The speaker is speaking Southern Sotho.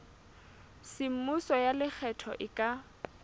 semmuso ya lekgetho e ka